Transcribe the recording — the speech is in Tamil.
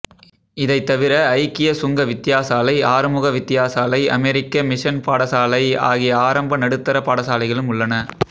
இதைத் தவிர ஐக்கிய சங்க வித்தியாசாலை ஆறுமுக வித்தியாசாலை அமெரிக்க மிஷன் பாடசாலை ஆகிய ஆரம்ப நடுத்தர பாடசாலைகளும் உள்ளன